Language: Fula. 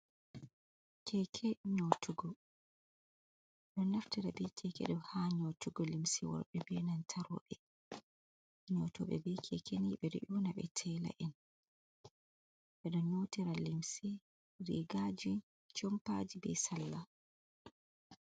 Keke nyotugo ɗon naftira be keke ɗo ha nyotugo limsi worɓe benan ta roɓe nyotoɓe be kekeni ɓe ɗo una be tela’en ɓe ɗon nyotira limsi rigaji jompaji be salla.